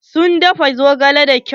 Sun dafa zogalen da kyau.